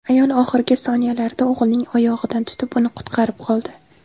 Ayol oxirgi soniyalarda o‘g‘lining oyog‘idan tutib, uni qutqarib qoldi.